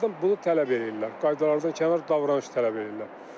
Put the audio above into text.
Bunlardan bunu tələb eləyirlər, qaydalardan kənar davranış tələb eləyirlər.